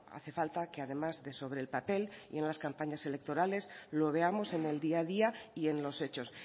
hace falta que además de sobre el papel y en las campañas electorales lo veamos en el día a día y en los hechos